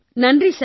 நன்றி சார்